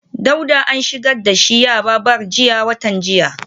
Dauda an shigar da shi yaba bar jiya watan jiya